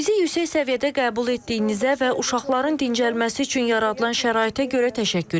Bizi yüksək səviyyədə qəbul etdiyinizə və uşaqların dincəlməsi üçün yaradılan şəraitə görə təşəkkür edirəm.